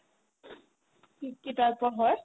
কি কি type ৰ হয়